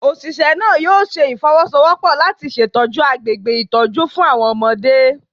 Oṣiṣẹ naa yoo ṣe ifowosowopo lati ṣetọju agbegbe itọju fun awọn ọmọde